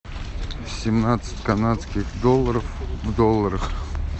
семнадцать канадских долларов в долларах